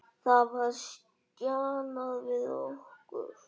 Það var stjanað við okkur.